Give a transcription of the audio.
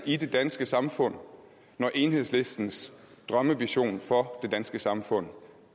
i det danske samfund når enhedslistens drømmevision for det danske samfund